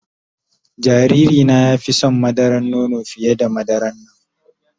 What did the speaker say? Jariri na ya fi son madaran nono fiye da madaran nan.